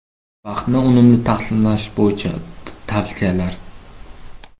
Vaqtni unumli taqsimlash bo‘yicha tavsiyalar.